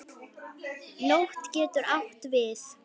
Nótt getur átt við